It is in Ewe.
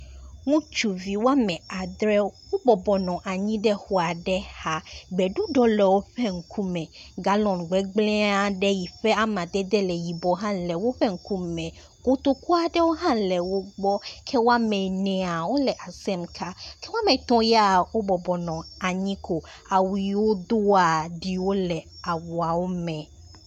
Ŋustuvi wome adzre wobɔbɔ nɔ anyi ɖe exɔ aɖe xa, gbeɖuɖɔ le woƒe ŋku me, gallon gbegblẽ aɖe yi ƒe amadede le yibɔ le woƒe ŋku me, kotoku aɖewo hã le wogbɔ ke woame ene le asem ka ke woame etɔ̃ ya wobɔbɔ nɔ anyi ko, awu yi wodoa ɖiwo le awuawo ŋku me